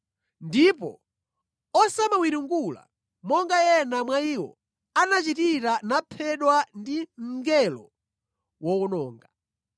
Ndipo osamawiringula, monga ena mwa iwo anachitira naphedwa ndi mngelo wowononga.